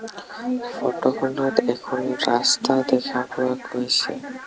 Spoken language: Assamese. ফটো খনত এখন ৰাস্তা দেখা পোৱা গৈছে।